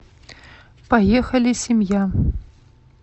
поехали семья